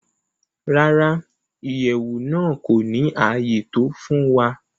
Rárá, Iyẹwu naa ko ni aye to fun wa.